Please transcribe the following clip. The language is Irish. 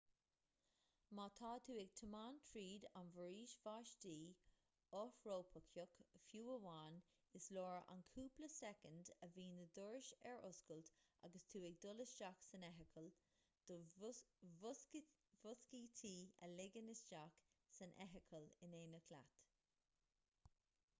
má tá tú ag tiomáint tríd an bhforaois bháistí fhothrópaiceach fiú amháin is leor an cúpla soicind a bhíonn na dorais ar oscailt agus tú ag dul isteach san fheithicil do mhuiscítí a ligean isteach san fheithicil in éineacht leat